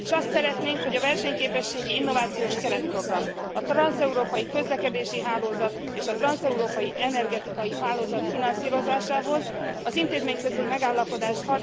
Azt szeretnénk, hogy a versenyképességi, innovációs keretprogram, a transzeurópai közlekedési hálózat és a transzeurópai energetikai hálózat finanszírozásához az intézményközi megállapodás